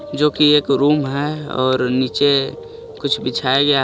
जो की एक रूम हे और निचे कुछ बिछाया गया हे. औ--